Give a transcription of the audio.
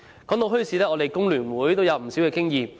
談到墟市，香港工會聯合會也有不少經驗。